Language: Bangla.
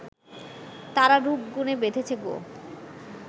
তারা রূপ-গুণে বেঁধেছে গো